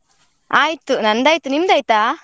ಆಯ್ತು ನಂದಾಯ್ತು, ನಿಮ್ದ್ ಆಯ್ತಾ?